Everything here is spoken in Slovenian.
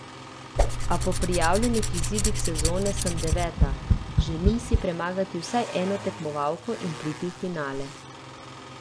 A po prijavljenih izidih sezone sem deveta, želim si premagati vsaj eno tekmovalko in priti v finale.